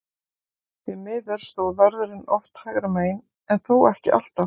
Því miður stóð vörðurinn oft hægra megin, en þó ekki alltaf.